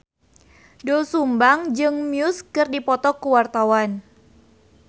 Doel Sumbang jeung Muse keur dipoto ku wartawan